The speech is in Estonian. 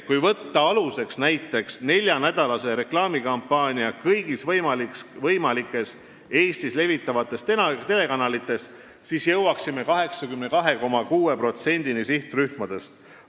Kui võtta aluseks näiteks neljanädalane reklaamikampaania kõigis võimalikes Eestis levivates telekanalites, siis jõuaksime nii 82,6%-ni sihtrühmast.